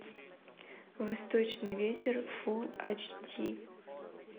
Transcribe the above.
восточный ветер фул айч ди